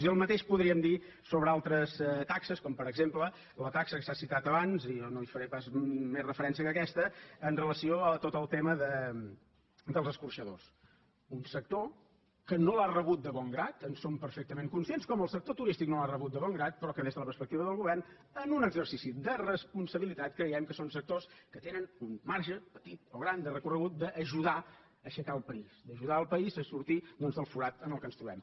i el mateix podríem dir sobre altres taxes com per exemple la taxa que s’ha citat abans i jo no hi faré pas més referència que aquesta amb relació a tot el tema dels escorxadors un sector que no l’ha rebut de bon grat en som perfectament conscients com el sector turístic no l’ha rebut de bon grat però que des de la perspectiva del govern en un exercici de responsabilitat creiem que són sectors que tenen un marge petit o gran de recorregut d’ajudar a aixecar el país d’ajudar el país a sortir doncs del forat en què ens trobem